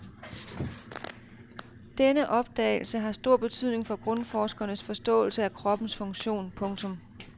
Denne opdagelse har stor betydning for grundforskernes forståelse af kroppens funktion. punktum